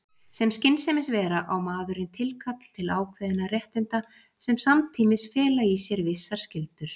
Sem skynsemisvera á maðurinn tilkall til ákveðinna réttinda sem samtímis fela í sér vissar skyldur.